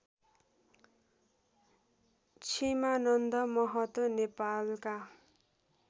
छिमानन्द महतो नेपालका